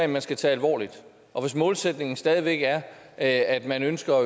man skal tage alvorligt og hvis målsætningen stadig væk er at man ønsker